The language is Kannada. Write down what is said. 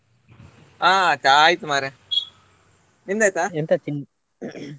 ಹ್ಞಾ ಚಾ ಆಯ್ತ್ ಮಾರ್ರೆ ನಿಂದ್ ಆಯ್ತಾ?